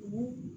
U